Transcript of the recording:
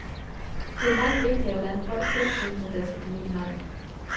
Det er langt vigtigere, hvordan folk selv synes, at deres økonomi har det.